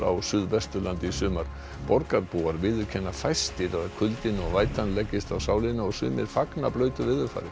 á Suðvesturlandi í sumar borgarbúar viðurkenna fæstir að kuldinn og leggist á sálina og sumir fagna blautu veðurfari